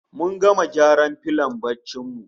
Mun gama gyara filon barcin mu